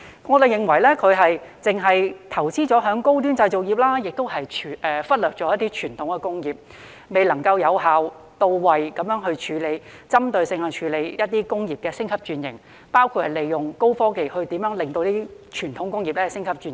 我們認為當局只是投資在高端製造業，忽略了一些傳統工業，未能有效、到位、針對性地處理一些工業的升級轉型，包括如何利用高科技幫助傳統工業升級轉型。